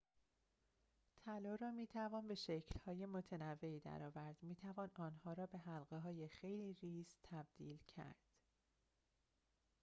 طلا را می‌توان به شکل‌های متنوعی در آورد می‌توان آن را به حلقه‌های خیلی ریز تبدیل کرد